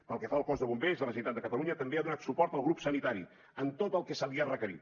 pel que fa al cos de bombers de la generalitat de catalunya també ha donat suport al grup sanitari en tot el que se li ha requerit